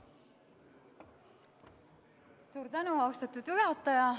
Suur tänu, austatud juhataja!